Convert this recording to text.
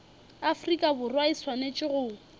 afrika borwa e swanetše go